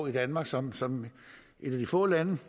i danmark som som et af de få lande